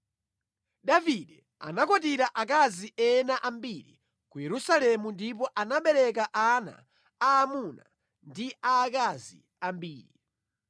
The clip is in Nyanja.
Davide anakwatira akazi ena ambiri ku Yerusalemu ndipo anabereka ana aamuna ndi aakazi ambiri.